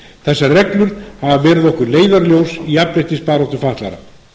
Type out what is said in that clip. þessar reglur hafa verið okkur leiðarljós í jafnréttisbaráttu fatlaðra